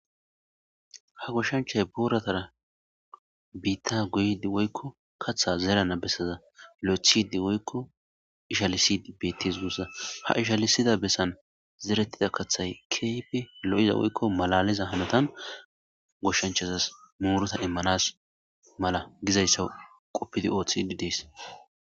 Ha goshshanchay buuratara biitta guyidi woykko katha zeelana bessaza li'thidi woykko ishalisidi bettes guussa ha ishalisida bessan zerettida kaththay kayfi lo7iza woykko malaliza hanotan goshshanchazas muurota immanas mala gizayssa quppidi ooththid dees.